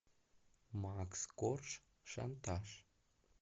макс корж шантаж